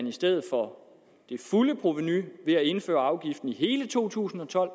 i stedet for det fulde provenu ved at indføre afgiften i hele to tusind og tolv